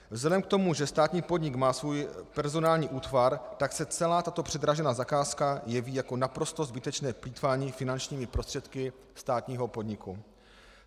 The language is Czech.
Vzhledem k tomu, že státní podnik má svůj personální útvar, tak se celá tato předražená zakázka jeví jako naprosto zbytečné plýtvání finančními prostředky státního podniku.